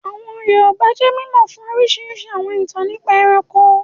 Àwọn Yorùbá jẹ́ mímọ̀ fún orísirísi àwọn ìtàn nípa ẹranko